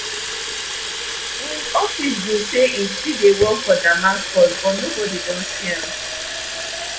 im office bin say im still dey work for damascus but nobodi don see am